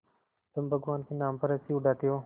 तुम भगवान के नाम पर हँसी उड़ाते हो